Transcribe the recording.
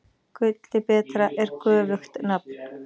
Gulli betra er göfugt nafn.